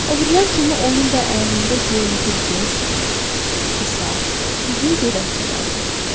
O birilər kimi onun da əynində göyümtül cins qısa-uzun gödəkçə vardı.